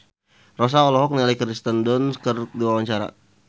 Rossa olohok ningali Kirsten Dunst keur diwawancara